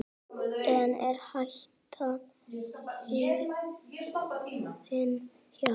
En er hættan liðin hjá?